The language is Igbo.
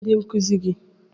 Kedụ ndị nkuzi gị?